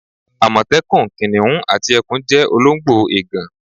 Àmọ̀tẹ́kùn, kìnnìún àti ẹkùn jẹ́ olóńgbò ègàn.